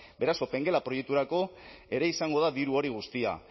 beraz opengela proiekturako ere izango da diru hori guztia